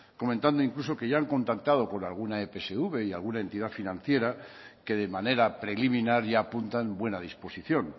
comentando incluso que ya han contactado con alguna epsv y alguna entidad financiera que de manera preliminar ya apuntan buena disposición